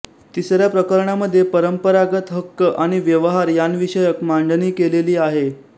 तिसऱ्या प्रकरणामध्ये परंपरागत हक्क आणि व्यवहार यांविषयक मांडणी केलेली आहे